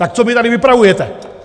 Tak co mi tady vypravujete!